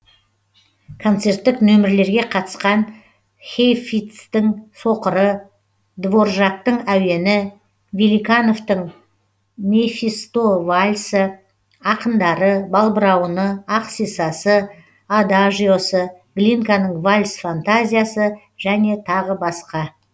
концерттік нөмірлерге қатысқан хейфицтің соқыры дворжактың әуені великановтың мефистовальсы ақындары балбырауыны ақ сисасы адажиосы глинканың вальс фантазиясы және тағы басқа